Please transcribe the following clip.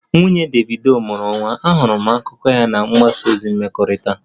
Nwunye Davido mụrụ nwa, ahụrụ m akụkọ ahụ na mgbasa ozi mmekọrịta